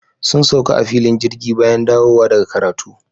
Sun sauka a filin jirgi bayan dawowa daga karatu.